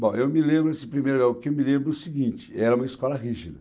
Bom, eu me lembro, assim, primeiro, o que eu me lembro é o seguinte, era uma escola rígida.